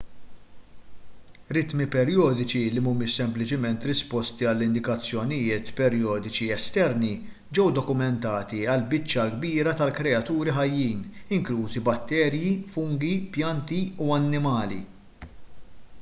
ritmi perjodiċi li mhumiex sempliċement risposti għal indikazzjonijiet perjodiċi esterni ġew dokumentati għall-biċċa l-kbira tal-kreaturi ħajjin inklużi batterji fungi pjanti u annimali